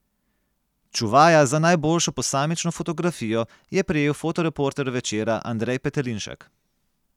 Čuvaja za najboljšo posamično fotografijo je prejel fotoreporter Večera Andrej Petelinšek.